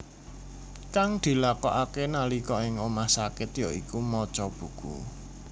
Kang dilakokake nalika ing omah sakit ya iku maca buku